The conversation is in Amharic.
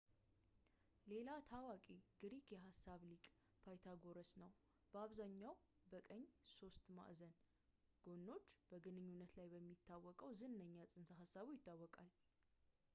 ሌላ ታዋቂ ግሪክ የሂሳብ ሊቅ ፓይታጎረስ ነው ፣ በአብዛኛው በቀኝ ሦስት ማዕዘኖች ጎኖች ግንኙነት ላይ በሚታወቀው ዝነኛ ፅንሰ-ሀሳቡ ይታወቃል